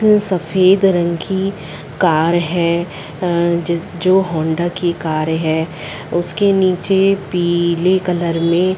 क सफ़ेद रंग की कार है अ-- जिस जो होंडा की कार है उसके नीचे पीले कलर में--